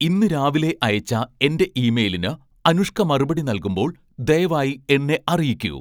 ഇന്ന് രാവിലെ അയച്ച എന്റെ ഇമെയിലിന് അനുഷ്ക മറുപടി നൽകുമ്പോൾ ദയവായി എന്നെ അറിയിക്കൂ